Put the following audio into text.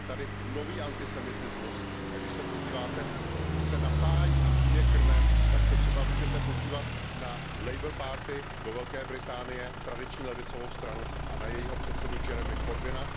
Je tady nový antisemitismus, a když se podíváte, odkud se napájí a kým je krmen, tak se třeba můžete podívat na do Velké Británie, tradiční levicovou stranu, a na jejího předsedu Jeremyho Corbyna.